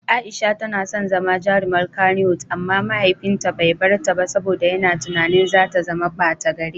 Aisha tana son zama jarumar Kannywood amma mahaifinta bai bar ta ba saboda yana tunanin za ta zama bata gari.